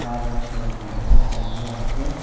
car wash ಮಾಡ್ತಿದ್ದಾರೆ ಅದರಲ್ಲಿ ಅದಕ್ಕೆ--